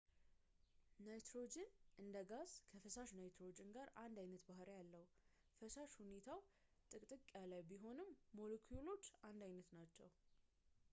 ናይትሮጅን እንደ ጋዝ ከፈሳሽ ናይትሮጅን ጋር አንድ ዓይነት ባሕሪያት አለው ፈሳሽ ሁኔታው ጥቅጥቅ ያለ ቢሆንም ሞሎኪውሎቹ አንድ ዓይነት ናቸው